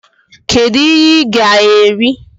kedu ihe i gá eri?